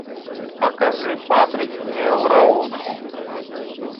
покажи патрик мелроуз